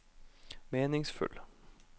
meningsfull